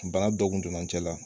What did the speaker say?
Bana dɔ kun donna cɛ la